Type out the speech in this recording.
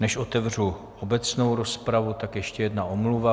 Než otevřu obecnou rozpravu, tak ještě jedna omluva.